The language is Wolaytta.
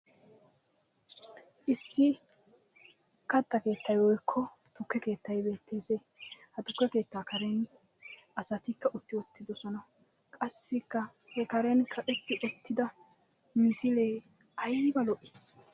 Issi katta keettay woykko tukke keettayi beettes. Ha tukke keettaa karen asatikka utti uttidosona qassikka he karen kaqetti uttida misilee ayba lo"ii.